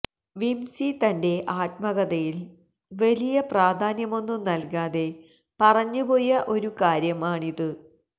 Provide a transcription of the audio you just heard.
വിംസി തന്റെ ആത്മകഥയില് വലിയ പ്രാധാന്യമൊന്നും നല്കാതെ പറഞ്ഞുപോയ ഒരു കാര്യമാണിത്